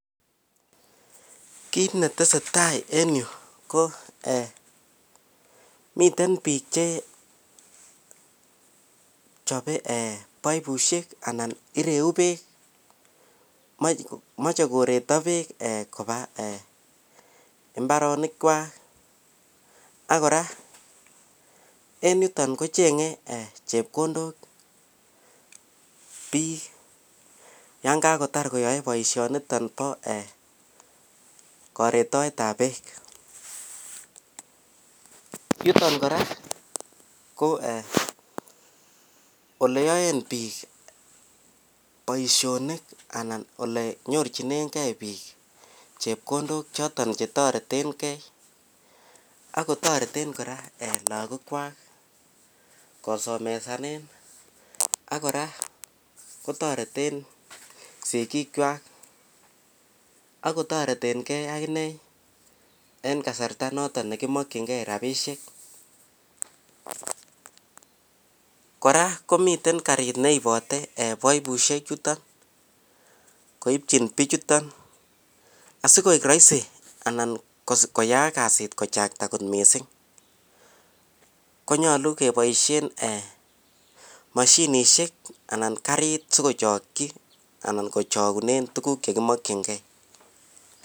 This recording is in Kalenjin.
Kit netesetai en yu ko miten bik Che chobe baibushek anan ireu bek mache koreito bek Koba en imbarenik chwak akoraa en yuton kochenge chepkondok bik yangakotar baishoniton ba karetaet ab bek chuton koraa ko oleyaen bik Baishonik anan olenyorchinigei bik chepkondok choton chetaretengei akotareten koraa lagok Kwak kosomesanen akoraa kotareten sigik chwak akotareten gei akinee en kasarta noton nekimakin gei rabishek koraa komiten karit neibate baibushek chuton koibchin bichuton asikoik rahisi koyaak kasit kochakta kot mising konyalu kebaishen mashinishek anan karit sikochaki anan sikochakunen tuguk chekimakin gei